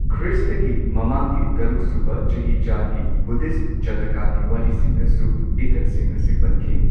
ꯈ꯭ꯔꯤꯁꯇꯒꯤ ꯃꯃꯥꯡꯒꯤ ꯇꯔꯨꯛ ꯁꯨꯕ ꯆꯍꯤꯆꯥꯒꯤ ꯕꯨꯙꯤꯁꯠ ꯖꯇꯀꯒꯤ ꯋꯥꯔꯤꯁꯤꯡꯗꯁꯨ ꯏꯊꯠꯁꯤꯡ ꯑꯁꯤ ꯄꯟꯈꯤ꯫